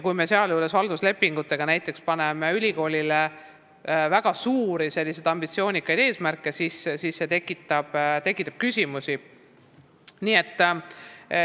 Kui me sealjuures paneme ülikoolile halduslepinguga väga suuri, ambitsioonikaid eesmärke, siis see tekitab küsimusi.